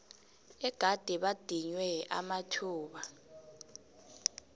egade badinywe amathuba